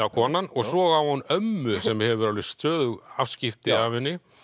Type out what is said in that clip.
konan og svo á hún ömmu sem hefur stöðug afskipti af henni